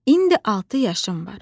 İndi altı yaşım var.